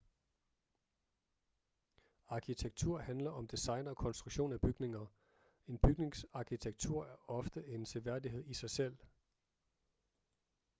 arkitektur handler om design og konstruktion af bygninger en bygnings arkitektur er ofte en seværdighed i sig selv